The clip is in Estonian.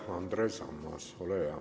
Andres Ammas, ole hea!